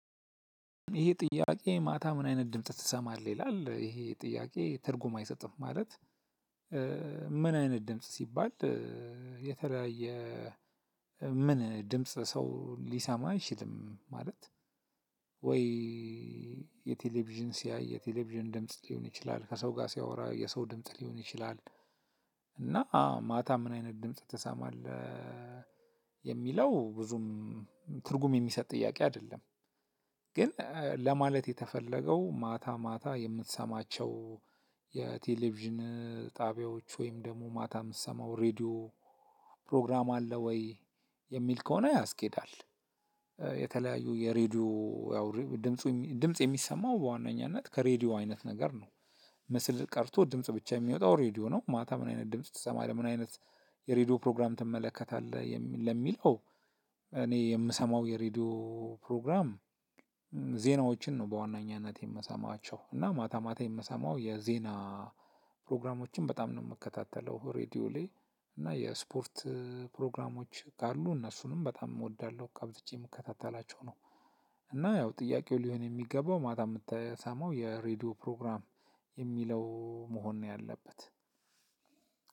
ይሄ ጥያቄ "ማታ ምን አይነት ድምጽ ትሰማለህ?" ይላል ይሄ ጥያቄ ትርጉም አይሰጥም። ማለት ምን አይነት ድምጽ ሲባል የተለያየ ምን ድምጽ ሰው ሊሰማ አይችልም። ማለት ወይ የቴሌቪዥን ሲያይ የቴሌቪዥን ድምጽ ሊሆን ይችላል ከሰው ጋር ሲያወራ የሰው ድምጽ ሊሆን ይችላል፤ እና አዎ "ማታ ምን አይነት ድምጽ ትሰማለህ?" የሚለው ብዙም ትርጉም የሚሰጥ ጥያቄ አይደለም። ግን ለማለት የተፈለገው ማታ ማታ የምትሰማቸው የቴሌቪዥን ጣቢያዎች፣ ወይም ደግሞ ማታ የምትሰማው ሬድዮ ፕሮግራም አለ ወይ የሚል ከሆነ ያስኬዳል። የተለያዩ የሬዲዮ ያውሬ ድምፁ ድምጽ የሚሰማው በዋነኛነት ከሬዲዮ አይነት ነገር ነው። ምስል ቀርቶ ድምጽ ብቻ የሚወጣው ሬድዮ ነው። "ማታ ምን አይነት ድምጽ ትሰማለህ?" ምን አይነት የሬድዮ ፕሮግራም ትመለከታለህ? ለሚለው እኔ የምሰማው የሬዲዮ ፕሮግራም ዜናዎችን ነው በዋነኛነት የምሰማቸው እና ማታ ማታ የምሰማው የዜና ፕሮግራሞችን በጣም ነው የምከታተለው ሬድዮ ላይ እና የስፖርት ፕሮግራሞች ካሉ እነሱንም በጣም እወዳልሁ አብዝቼ የምከታተላቸው ነው። እና ያው ጥያቄው ሊሆን የሚገባው ማታ የምትሰማው የሬድዮ ፕሮግራም የሚለው መሆን ነው ያለበት።